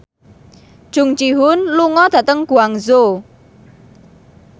Jung Ji Hoon lunga dhateng Guangzhou